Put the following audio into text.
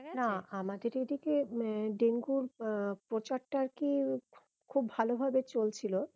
না আমাদের এদিকে আহ ডেঙ্গুর আহ প্রচারটা আর কি খুব ভালো ভাবে চলছিল